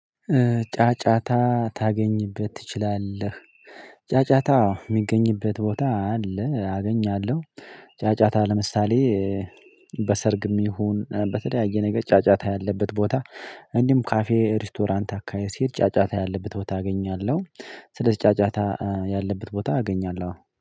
ጫጫታ ታገኝበት ትችላለህ። ጫጫታ የሚገኝበት ቦታ አለ። አገኛለሁ። ጫጫታ ለምሳሌ በሰርግም ይሁን በተለያየ ነገር ጫጫታ ያለበት ቦታ። እንዲሁም ካፌ ሬስቶራንት አካሄድ ሲሄድ ጫጫታ ያለበት ቦታ አገኛለሁ። ስለዚህ ጫጫታ ያለበት ቦታ አገኛለሁ